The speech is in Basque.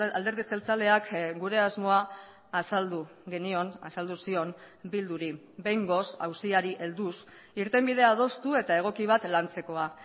alderdi jeltzaleak gure asmoa azaldu genion azaldu zion bilduri behingoz auziari helduz irtenbide adostu eta egoki bat lantzekoa